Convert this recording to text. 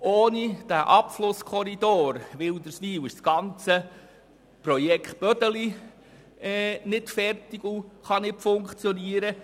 Ohne den Abflusskorridor Wilderswil ist das ganze Projekt Bödeli nicht vollständig und kann nicht funktionieren.